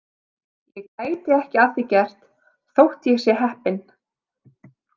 Ég geti ekki að því gert þótt ég sé heppinn.